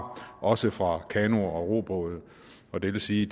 også fra kanoer og robåde og det vil sige